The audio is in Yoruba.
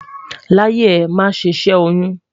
láyé è, má sé ṣé oyún